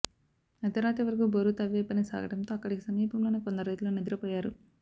అర్ధరాత్రి వరకు బోరు తవ్వే పని సాగటంతో అక్కడికి సమీపంలోనే కొందరు రైతులు నిద్రపోయారు